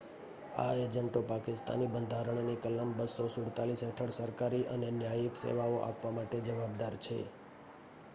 આ એજન્ટો પાકિસ્તાની બંધારણની કલમ 247 હેઠળ સરકારી અને ન્યાયિક સેવાઓ આપવા માટે જવાબદાર છે